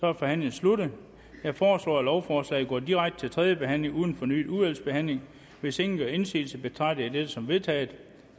er forhandlingen sluttet jeg foreslår at lovforslaget går direkte til tredje behandling uden fornyet udvalgsbehandling hvis ingen gør indsigelse betragter jeg dette som vedtaget